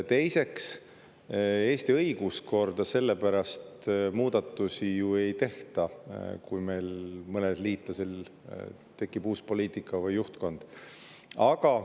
Teiseks, Eesti õiguskorda muudatusi ju ei tehta selle pärast, et meil mõnel liitlasel tekib uus juhtkond uut poliitikat.